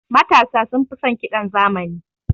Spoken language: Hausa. Matasa sunfi son ƙidan zamani.